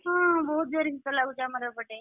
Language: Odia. ହଁ ବହୁତ୍ ଜୋରେ ଶୀତ ଲାଗୁଛି ଆମର ଏପଟେ।